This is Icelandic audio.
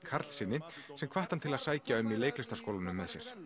Karlssyni sem hvatti hann til að sækja um í leiklistarskólanu með sér